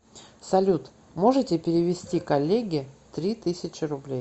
салют можете перевести коллеге три тысячи рублей